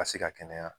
Ka se ka kɛnɛya